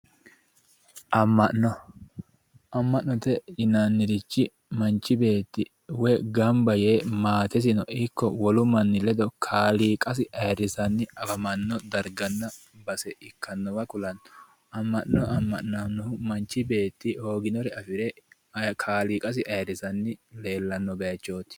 Ama'no, ama'note yinnannirichi manchi beetti woyi gamba yee maatesino ikko wolu manni ledo kaaliiqasi ayirrisanni afamano darganna base ikkanowa ku'lano ama'no ama'nanohu manchi beetti hooginore afire kaaliiqasi ayirrisanni leellano bayichoti.